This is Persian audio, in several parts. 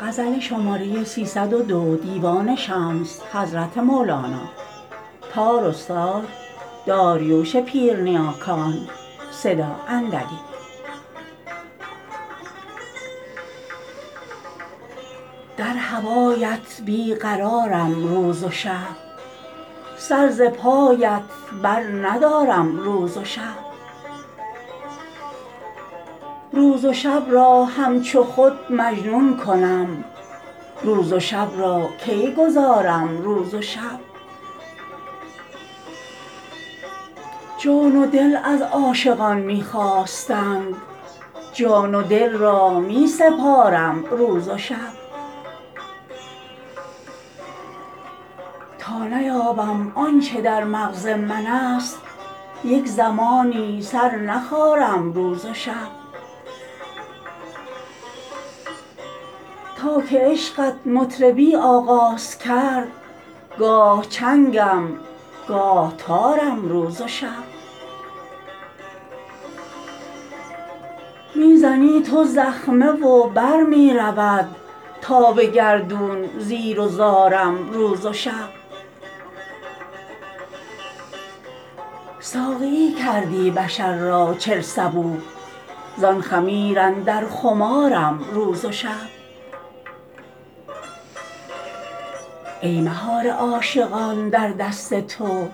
در هوایت بی قرارم روز و شب سر ز پایت برندارم روز و شب روز و شب را همچو خود مجنون کنم روز و شب را کی گذارم روز و شب جان و دل از عاشقان می خواستند جان و دل را می سپارم روز و شب تا نیابم آن چه در مغز منست یک زمانی سر نخارم روز و شب تا که عشقت مطربی آغاز کرد گاه چنگم گاه تارم روز و شب می زنی تو زخمه و بر می رود تا به گردون زیر و زارم روز و شب ساقیی کردی بشر را چل صبوح زان خمیر اندر خمارم روز و شب ای مهار عاشقان در دست تو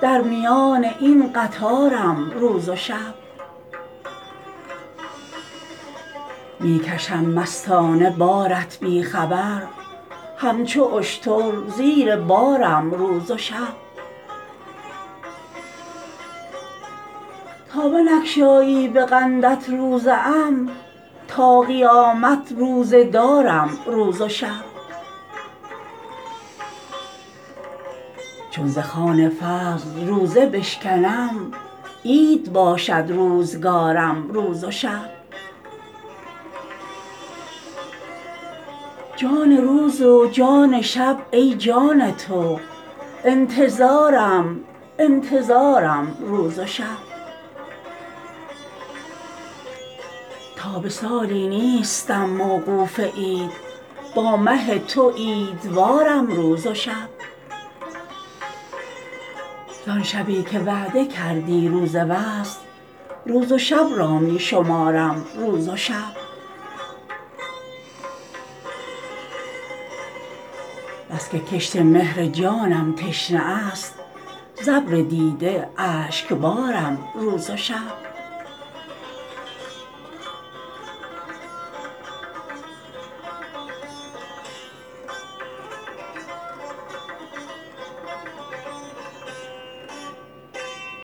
در میان این قطارم روز و شب می کشم مستانه بارت بی خبر همچو اشتر زیر بارم روز و شب تا بنگشایی به قندت روزه ام تا قیامت روزه دارم روز و شب چون ز خوان فضل روزه بشکنم عید باشد روزگارم روز و شب جان روز و جان شب ای جان تو انتظارم انتظارم روز و شب تا به سالی نیستم موقوف عید با مه تو عیدوارم روز و شب زان شبی که وعده کردی روز وصل روز و شب را می شمارم روز و شب بس که کشت مهر جانم تشنه است ز ابر دیده اشکبارم روز و شب